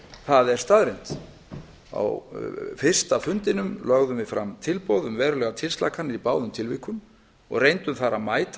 það er staðreynd á fyrsta fundinum lögðum við fram tilboð um verulegar tilslakanir í báðum tilvikum og reyndum þar að mæta